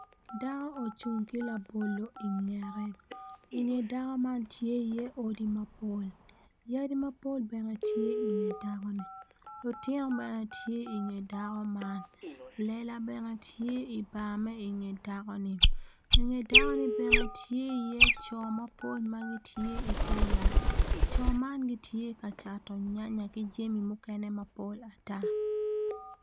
Dako ocung ki labolo ingete inge dako man tye iye odi mapol yadi mapol bene tye inge dako-ni lutino bene tye inge dako man lela bene tye i bar ma inge dakoni inge dakoni bene tye iye co mapol ma gitye i te yat co man gitye kacato nyanaya ki jami mukene mapol ata